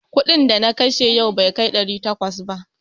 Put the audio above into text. Kuɗin da na kashe yau bai kai ɗari takwas ba.